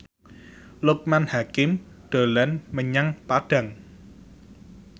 Loekman Hakim dolan menyang Padang